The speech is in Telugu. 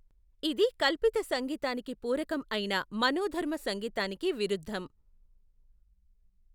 ఇది కల్పిత సంగీతానికి పూరకం అయిన మనోధర్మ సంగీతానికి విరుద్ధం.